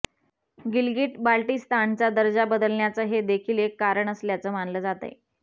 गिलगिट बाल्टिस्तानचा दर्जा बदलण्याचं हे देखील एक कारण असल्याचं मानलं जातंय